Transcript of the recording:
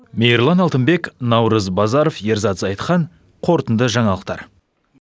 мейірлан алтынбек наурыз базаров ерзан зайытхан қорытынды жаңалықтар